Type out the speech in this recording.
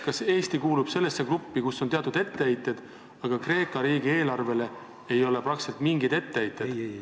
Kas Eesti kuulub sellesse gruppi, kus on teatud etteheited, aga Kreeka riigi eelarvele ei ole mingeid etteheiteid?